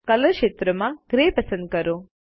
colour ક્ષેત્રમાં grey પસંદ કરો